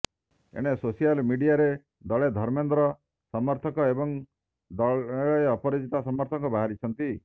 ଏଣେ ସୋସିଆଲ ମିଡିଆରେ ଦଳେ ଧର୍ମେନ୍ଦ୍ର ସମର୍ଥକ ଏବଂ ଦଳେ ଅପରାଜିତା ସମର୍ଥକ ବାହାରିଛନ୍ତି